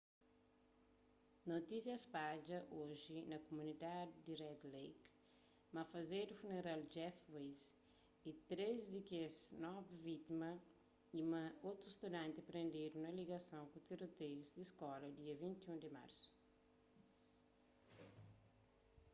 notísia spadja oji na kumunidadi di red lake ma fazedu funeral di jeff weise y três di kes novi vítimas y ma otu studanti prendedu na ligason ku tiroteius di skola dia 21 di marsu